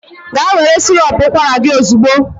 Gaa were sirop ụkwara gị ozugbo!